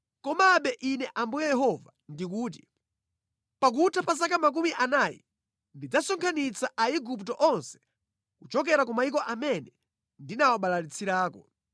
“ ‘Komabe Ine Ambuye Yehova ndikuti: Pakutha pa zaka makumi anayi ndidzasonkhanitsa Aigupto onse kuchokera ku mayiko amene ndinawabalalitsirako.